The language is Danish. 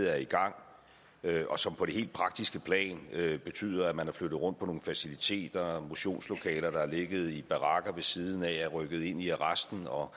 er i gang og som på det helt praktiske plan betyder at man har flyttet rundt på nogle faciliteter motionslokaler der har ligget i barakker ved siden af er rykket ind i arresten og